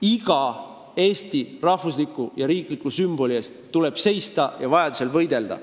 Iga Eesti rahvusliku ja riikliku sümboli eest tuleb seista ja vajadusel võidelda.